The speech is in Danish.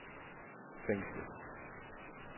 fængslet